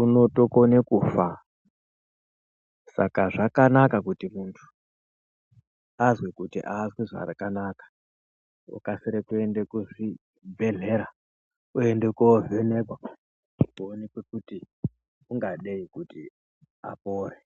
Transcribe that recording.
unotokone kufa saka zvakanaka kuti muntu azwe kuti aazwi zvakanaka okasire kuenda kuzvibhedhlera, oende koovhenekwa kuonekwe kuti ungadei kuti apore.